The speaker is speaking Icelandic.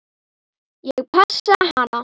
Ég passaði hana.